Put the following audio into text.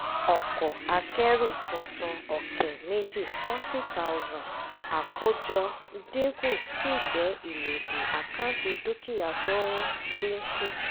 ọkọ̀ akẹ́rù tuntun ọ̀kẹ́ méjì forty thousand àkójọ dínkù sì jẹ́ ìlòdì àkáǹtì dúkìá tó ń dínkù.